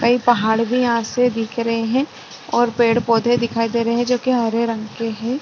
कई पहाड़ भी यहां से दिख रहे हैं और पेड़ पौधे दिखाई दे रहे हैं जो कि हरे रंग के हैं।